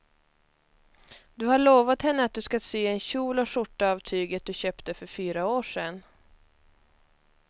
Du har lovat henne att du ska sy en kjol och skjorta av tyget du köpte för fyra år sedan.